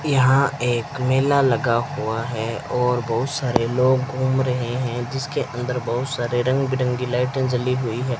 यहां एक मेला लगा हुआ है और बहुत सारे लोग घूम रहे हैं जिसके अंदर बहुत सारे रंग बिरंगी लाइटें जली हुई है।